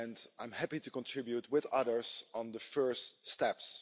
I'm happy to contribute, with others, on the first steps.